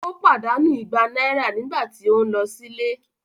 Ó pàdánù ìgbà náírà nígbà tí o ń lọ sílé